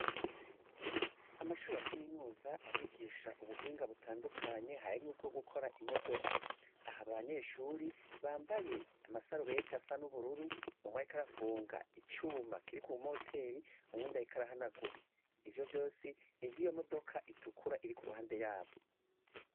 Amashure ya kaminuza arigisha ubuhinga butandukanye harimw ubwo gukora imodoka. aha abanyeshure bambaye amasarubeti asanubururu umwe ariko arafunga icuma Kiri ku moteri uwundi ariko arahanagura ivyo byose nivyo modoka itukura iri kuru hande yabo.